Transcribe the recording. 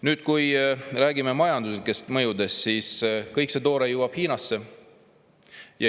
Nüüd, rääkides majanduslikest mõjudest: kõik see toore jõuab Hiinasse.